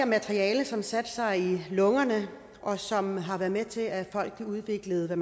materiale som satte sig i lungerne og som har været med til at folk udviklede hvad